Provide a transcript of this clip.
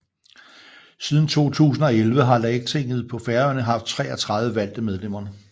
Siden 2011 har Lagtinget på Færøerne haft 33 valgte medlemmer